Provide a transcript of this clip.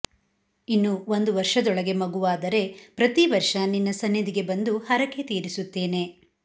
ಇನ್ನು ಒಂದು ವರ್ಷದೊಳಗೆ ಮಗುವಾದರೆ ಪ್ರತಿ ವರ್ಷ ನಿನ್ನ ಸನ್ನಿದಿಗೆ ಬಂದು ಹರಕೆ ತೀರಿಸುತ್ತೇನೆ